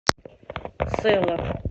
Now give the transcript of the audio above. сэла